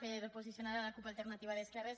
per posicionar la cup alternativa d’esquerres